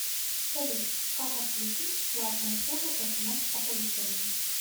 салют как отключить платную услугу смс оповещений